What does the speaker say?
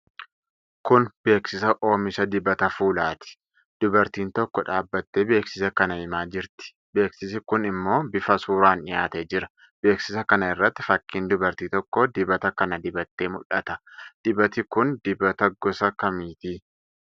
Kun beeksisa oomisha dibata fuulaati. Dubartiin tokko dhaabattee beeksisa kana himaa jirti. Beeksisi kun ammo bifa suuraan dhiyaatee jira. Beeksisa kana irratti fakkiin dubartii tokkoo dibata kana dibattee mul'ata. Dibati kun dibata gosa akkamiiti?